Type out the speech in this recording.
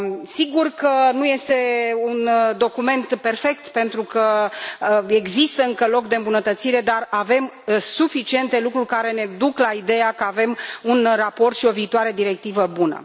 Sigur că nu este un document perfect, pentru că există încă loc de îmbunătățire, dar avem suficiente lucruri care ne duc la ideea că avem un raport și o viitoare directivă bună.